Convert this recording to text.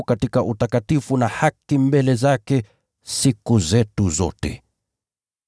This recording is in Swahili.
katika utakatifu na haki mbele zake, siku zetu zote.